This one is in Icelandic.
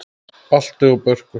Balti og Börkur!